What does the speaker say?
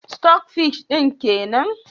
" stock fish " din kenan?